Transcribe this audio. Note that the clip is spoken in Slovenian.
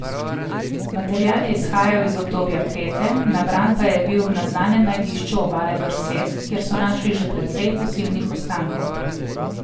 Material je izhajal iz obdobja Krete, nabran pa je bil na znanem najdišču obale Dorset, kjer so našli že precej fosilnih ostankov.